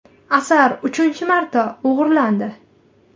Asar uchinchi marta o‘g‘irlandi.